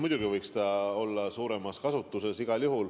Muidugi võiks see olla suuremas kasutuses.